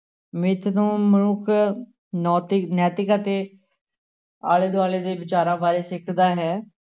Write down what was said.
ਮਿੱਥ ਤੋਂ ਮਨੁੱਖ ਨੋਤਿਕ ਨੈਤਿਕ ਅਤੇ ਆਲੇ ਦੁਆਲੇ ਦੇ ਵਿਚਾਰਾਂ ਬਾਰੇ ਸਿੱਖਦਾ ਹੈ।